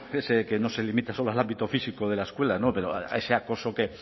ese que no se limita solo al ámbito físico de la escuela a ese acoso